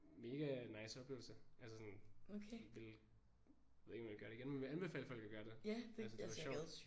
Mega nice oplevelse altså sådan ville ved ikke om jeg vil gøre det igen men vil anbefale folk at gøre det. Altså det var sjovt